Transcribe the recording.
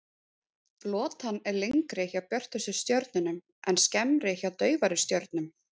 Lotan er lengri hjá björtustu stjörnunum en skemmri hjá daufari stjörnum.